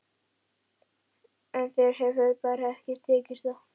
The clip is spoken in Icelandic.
En þér hefur bara ekki tekist það.